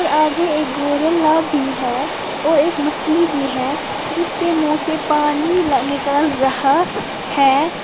आगे एक गोरिल्ला भी है और एक मछली भी है जिसके मुंह से पानी निकल रहा है।